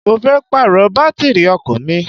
Mo fẹ́ Pààrọ̀ bátìrì ọkọ̀ mi